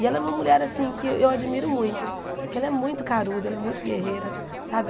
E ela é uma mulher assim que eu admiro muito, porque ela é muito caruda, ela é muito guerreira sabe.